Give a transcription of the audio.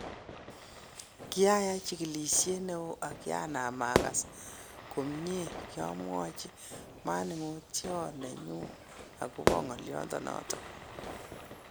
Kiayaiy chigilishiet newon ak kyanam agas komnye, kyomwochu manung'oiot nenyu agobo ngoliondonoton.